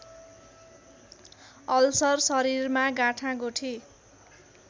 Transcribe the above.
ulcer शरीरमा गाँठागुठी